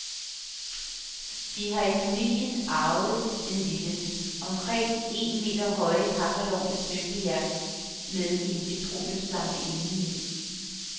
Vi har i familien arvet denne lille, omkring en meter høje kakkelovn af støbejern med en petroleumslampe indeni.